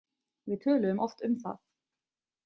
Við töluðum oft um það.